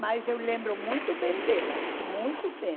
Mas eu lembro muito bem delas, muito bem.